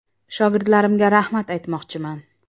Shogirdlarimga rahmat aytmoqchiman.